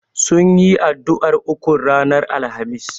Sunyi addu'ar ukun ranar Alhamis.